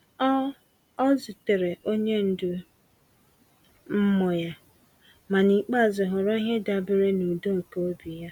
Ọ Ọ zutere onye ndu mmụọ ya, ma n’ikpeazụ họrọ ihe dabeere na udo nke obi ya.